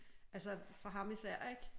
Altså for han især ik